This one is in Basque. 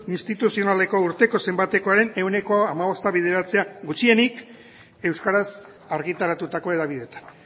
instituzionaleko urteko zenbatekoaren ehuneko hamabosta bideratzea gutxienik euskaraz argitaratutako hedabideetan